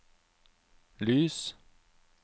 lys